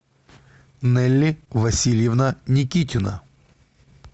нэлли васильевна никитина